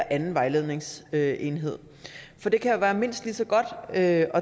anden vejledningsenhed for det kan jo være mindst lige så godt at